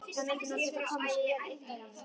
Það myndi nú geta komið sér vel einn daginn.